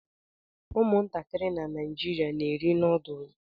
Ụmụntakịrị na Naịjirịa na-eri noodlu